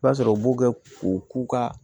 I b'a sɔrɔ u b'u kɛ u k'u ka